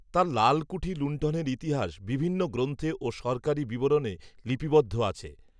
তাঁর লীলকূঠি লুন্ঠনের ইতিহাস বিভিন্ন গ্রন্থে ও সরকারি বিবরণে লিপিবদ্ধ আছে